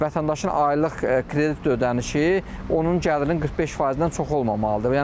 Vətəndaşın aylıq kredit ödənişi onun gəlirinin 45%-dən çox olmamalıdır.